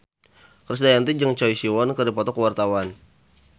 Krisdayanti jeung Choi Siwon keur dipoto ku wartawan